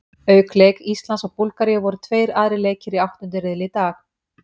Auk leik Íslands og Búlgaríu voru tveir aðrir leikir í áttunda riðli í dag.